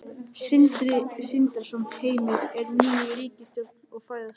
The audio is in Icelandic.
Sindri Sindrason: Heimir, er ný ríkisstjórn að fæðast?